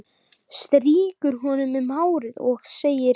Strýkur honum um hárið og segir